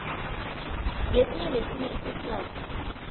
ngesinye nesinye isikhathi